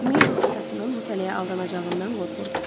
Mabel atasının bu tələyə aldanacağından qorxurdu.